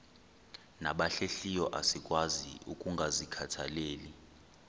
nabahlehliyo asikwazi ukungazikhathaieli